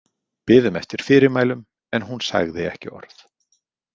Biðum eftir fyrirmælum en hún sagði ekki orð.